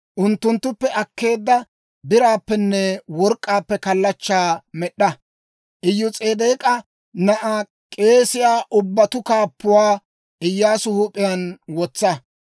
Unttunttuppe akkeedda biraappenne work'k'aappe kallachchaa med'd'a; Iyos'edeek'a na'aa, k'eesiyaa ubbatuu kaappuwaa Iyyaasu huup'iyaan wotsa.